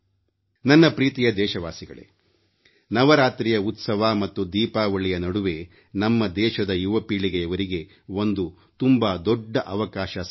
ನನ್ನ ಪ್ರೀತಿಯ ದೇಶವಾಸಿಗಳೇ ನವರಾತ್ರಿಯ ಉತ್ಸವ ಮತ್ತು ದೀಪಾವಳಿಯ ನಡುವೆ ನಮ್ಮ ದೇಶದ ಯುವ ಪೀಳಿಗೆಯವರಿಗೆ ಒಂದು ತುಂಬಾ ದೊಡ್ಡ ಅವಕಾಶ ಸಹ ಇದೆ